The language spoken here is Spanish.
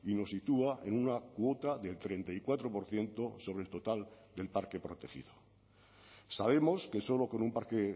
nos sitúa en una cuota del treinta y cuatro por ciento sobre el total del parque protegido sabemos que solo con un parque